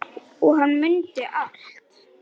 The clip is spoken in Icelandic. Og hann mundi allt.